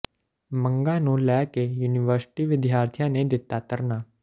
ਮੰਗਾਂ ਨੂੰ ਲੈ ਕੇ ਯੂਨੀਵਰਸਿਟੀ ਵਿਦਿਆਰਥੀਆਂ ਨੇ ਦਿੱਤਾ ਧਰਨਾ